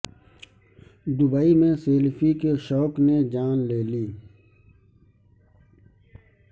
Dubai میں selfie کے شوق نے جان لے لی